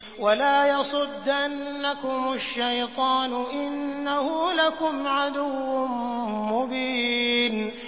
وَلَا يَصُدَّنَّكُمُ الشَّيْطَانُ ۖ إِنَّهُ لَكُمْ عَدُوٌّ مُّبِينٌ